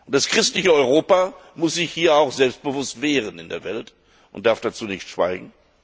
Das christliche Europa muss sich hier auch selbstbewusst wehren in der Welt und darf dazu nicht schweigen.